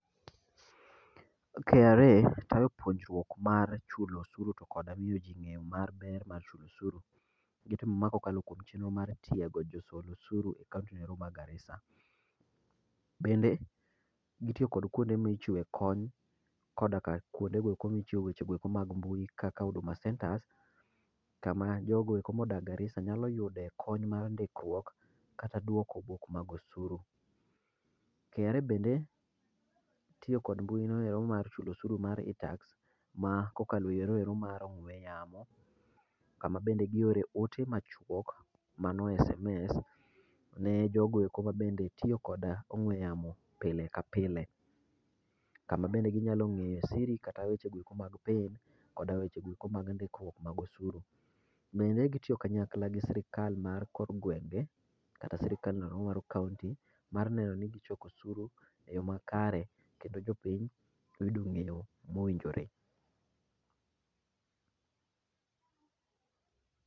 KRA tayo puonjrok mar chulo oshuru kendo miyo jii ngeyo mar ber mar chulo osuru. Gitimo ma kokalo kuom chenro mar tiego jo solosuru e kaunti noero ma Garisa. Bende, gitiyo kod kuonde michiwe kony koda ka kuondegoeko michiwe weche mag mbui kaka Huduma Centres kama jogoeko modak Garisa nyalo yudo kony mar ndikruok kata duoko wuok mag osuru. KRA bende tiyo kod mbui noenda mar chulo osuru mar iTAX ma kokal eyore ero mar ong'we yamo kama bende giore ote machuok mano sms ne jogoeko mabende tiyo gi ongwe yamo pile ka pile kama bende ginya ngeyo siri kata weche goeko mag pin kod weche goeko mag ndikruok mag osuru. Bende gitiyo kanyakla gi sirkal mar kor gwenge kata sirkal mar kaunti mar neno ni gichoko osuru e yoo makare kendo jopiny bende ongeyo mowinjore